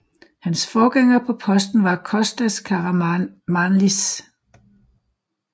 Hans forgænger på posten var Kostas Karamanlis